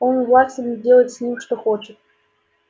он властен делать с ними что хочет